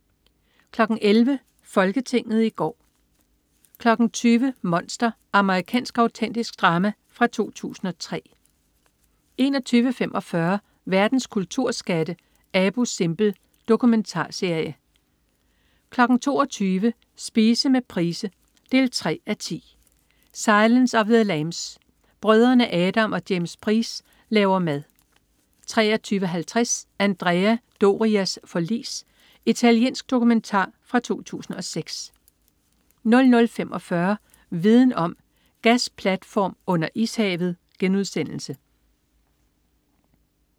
11.00 Folketinget i går 20.00 Monster. Amerikansk autentisk drama fra 2003 21.45 Verdens kulturskatte. "Abu Simbel". Dokumentarserie 22.00 Spise med Price 3:10. "Silence of the lambs". Brødrene Adam og James Price laver mad 23.50 Andrea Dorias forlis. Italiensk dokumentar fra 2006 00.45 Viden om: Gasplatform under ishavet*